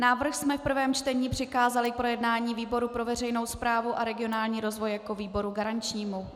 Návrh jsme v prvém čtení přikázali k projednání výboru pro veřejnou správu a regionální rozvoj jako výboru garančnímu.